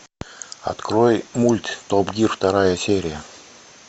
открой мульт топ гир вторая серия